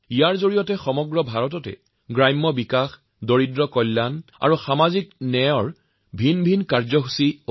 দেশজুৰি এই অভিযানত থাকিব গ্ৰামোন্নয়ন দৰিদ্ৰকল্যাণ আৰু সামাজিক ন্যায়ৰ বিভিন্ন কাৰ্যসূচী